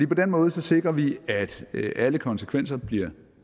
på den måde sikrer vi at alle konsekvenser bliver